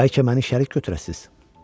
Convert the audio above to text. Bəlkə məni şərik götürəsiz?